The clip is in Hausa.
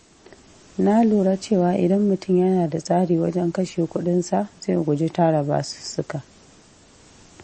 Na lura cewa idan mutum yana da tsari wajen kashe kuɗinsa, zai guji tara basussuka.